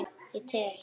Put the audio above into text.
Ég tel.